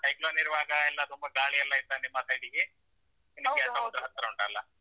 Cyclone ಇರುವಾಗ ಎಲ್ಲ ತುಂಬಾ ಗಾಳಿ ಎಲ್ಲ ಇತ್ತಾ ನಿಮ್ಮ ಸೈಡಿಗೆ ಹತ್ತಿರ ಉಂಟಲ್ಲಾ.